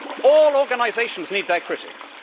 All organisations need their critics.